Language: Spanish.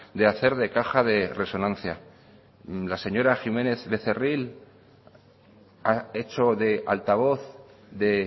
de hacer de caja de resonancia la señora jiménez becerril ha hecho de altavoz de